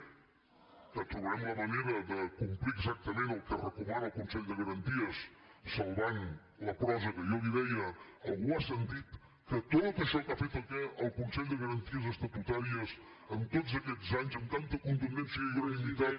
que trobarem la manera de complir exactament el que recomana el consell de garanties salvant la prosa que jo li deia algú ha sentit que tot això que ha fet el consell de garanties estatutàries en tots aquests anys amb tanta contundència i unanimitat